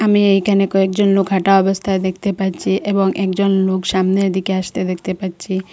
আমি এইকানে কয়েকজন লোক হাঁটা অবস্থায় দেখতে পাচ্চি এবং একজন লোক সামনের দিকে আসতে দেখতে পাচ্চি।